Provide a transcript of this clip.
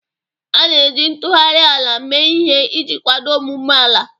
A na-eji ntụgharị ala mee ihe iji kwado ọmụmụ ala.